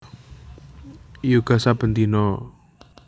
Yoga saben dina